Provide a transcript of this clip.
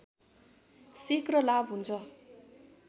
शीघ्र लाभ हुन्छ